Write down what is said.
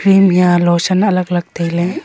tel hiya lotion alak alak tai ley.